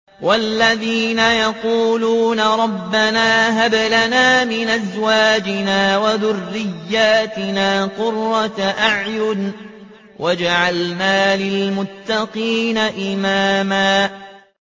وَالَّذِينَ يَقُولُونَ رَبَّنَا هَبْ لَنَا مِنْ أَزْوَاجِنَا وَذُرِّيَّاتِنَا قُرَّةَ أَعْيُنٍ وَاجْعَلْنَا لِلْمُتَّقِينَ إِمَامًا